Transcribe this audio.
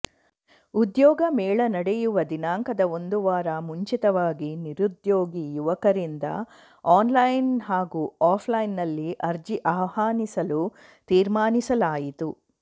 ಉದ್ಯೋಗ ಮೇಳ ನಡೆಯುವ ದಿನಾಂಕದ ಒಂದುವಾರ ಮುಂಚಿತವಾಗಿ ನಿರುದ್ಯೋಗಿ ಯುವಕರಿಂದ ಆನ್ ಲೈನ್ ಹಾಗೂ ಆಫ್ಲೈನ್ನಲ್ಲಿ ಅರ್ಜಿ ಆಹ್ವಾನಿಸಲು ತಿರ್ಮಾನಿಸಲಾಯಿತು